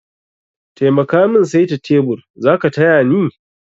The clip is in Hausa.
Taimaka min saita tebur, zaka tayani?